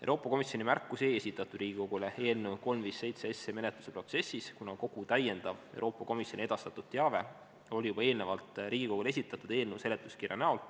" Euroopa Komisjoni märkusi ei esitatud Riigikogule eelnõu 357 menetluse protsessis, kuna kogu täiendav Euroopa Komisjoni edastatud teave oli juba eelnevalt Riigikogule esitatud eelnõu seletuskirja näol.